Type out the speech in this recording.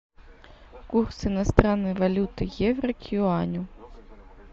курс иностранной валюты евро к юаню